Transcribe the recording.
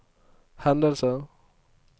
hendelser